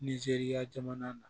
Nizeriya jamana na